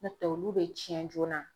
N'o tɛ olu be cɛn joona